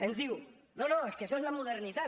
ens diu no no és que això és la modernitat